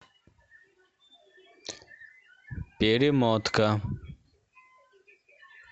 перемотка